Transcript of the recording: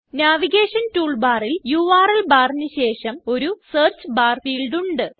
navigation tool ബാറിൽ URL ബാറിന് ശേഷം ഒരു സെർച്ച് ബാർ ഫീൽഡ് ഉണ്ട്